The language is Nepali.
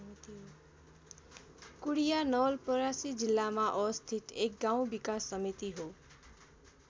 कुडिया नवलपरासी जिल्लामा अवस्थित एक गाउँ विकास समिति हो।